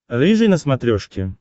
рыжий на смотрешке